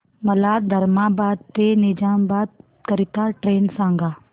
मला धर्माबाद ते निजामाबाद करीता ट्रेन सांगा